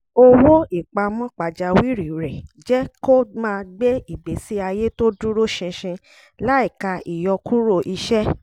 owó ìpamọ́ pajawírí rẹ̀ jẹ́ kó máa gbé ìgbésí ayé tó dúró ṣinṣin láìka ìyọkuro iṣẹ́